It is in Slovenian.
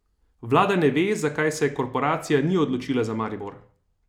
Vlada ne ve, zakaj se korporacija ni odločila za Maribor.